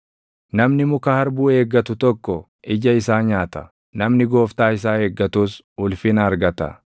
Namni muka harbuu eeggatu tokko ija isaa nyaata; namni gooftaa isaa eeggatus ulfina argata.